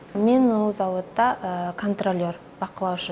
мен ол зауытта контролер бақылаушы